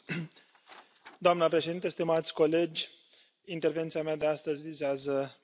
Doamnă Președinte, stimați colegi, intervenția mea de astăzi vizează Brexitul.